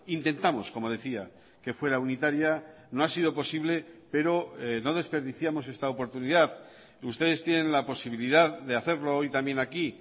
intentamos como decía que fuera unitaria no ha sido posible pero no desperdiciamos esta oportunidad ustedes tienen la posibilidad de hacerlo hoy también aquí